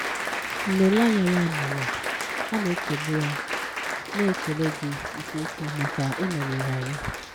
M na-ele anya ya mere, a na-ekele a na-ekele gị nke ukwuu maka ị nọnyere anyị.